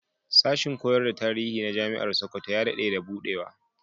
Sashin koyar da tarihi na Jami'ar Sokoto ya daɗe da buɗewa.